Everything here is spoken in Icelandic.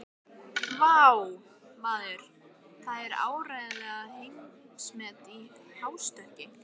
Vá, maður, það var áreiðanlega heimsmet í hástökki.